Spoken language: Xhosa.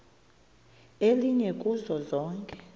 elinye kuzo zonke